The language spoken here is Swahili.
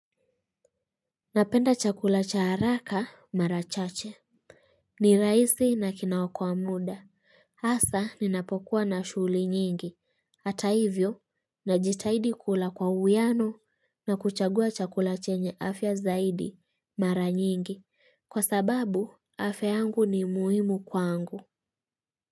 Napenda chakula cha haraka mara chache. Ni raisi na kinawokoa muda. Hasa ninapokuwa na shugli nyingi. Hata hivyo, najitahidi kula kwa uwiano na kuchagua chakula chenye afya zaidi mara nyingi. Kwa sababu, afya yangu ni muhimu kwangu.